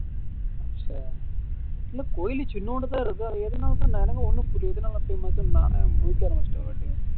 இல்ல கோவில் சின்னுண்டுதான் இருக்கு ஒன்னும் புரியல